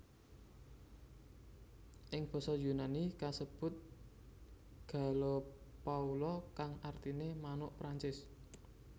Ing basa Yunani kasebut gallopoula kang artiné manuk Perancis